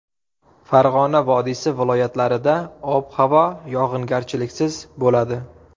Farg‘ona vodiysi viloyatlarida ob-havo yog‘ingarchiliksiz bo‘ladi.